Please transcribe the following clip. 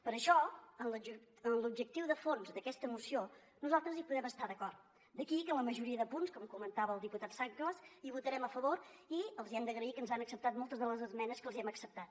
per això en l’objectiu de fons d’aquesta moció nosaltres hi podem estar d’acord d’aquí que en la majoria de punts com comentava el diputat sanglas votarem a favor i els hem d’agrair que ens han acceptat moltes de les esmenes que els hem acceptat